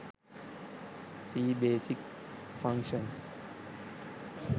c basic functions